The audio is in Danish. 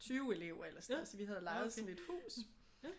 20 elever eller sådan noget så vi havde lejet sådan et hus